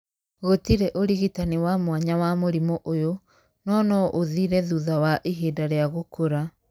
Gũtirĩ ũrigitani wa mwanya wa mũrimũ ũyũ, no no ũthire thutha wa ihinda rĩa gũkũra.